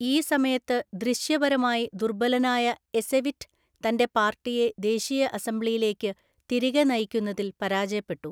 ഈ സമയത്ത് ദൃശ്യപരമായി ദുർബലനായ എസെവിറ്റ് തന്റെ പാർട്ടിയെ ദേശീയ അസംബ്ലിയിലേക്ക് തിരികെ നയിക്കുന്നതിൽ പരാജയപ്പെട്ടു.